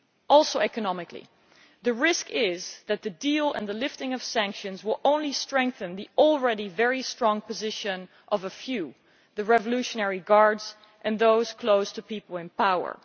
Also, economically the risk is that the deal and the lifting of sanctions will only strengthen the already very strong position of a few the Revolutionary Guards and those close to the people in power.